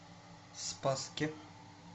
спасске